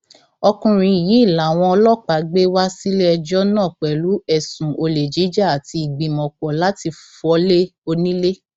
ọkùnrin yìí làwọn ọlọpàá gbé wá síléẹjọ náà pẹlú ẹsùn olè jíjà àti ìgbìmọpọ láti fọlé onílẹ